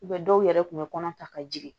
dɔw yɛrɛ kun bɛ kɔnɔ ta ka jigin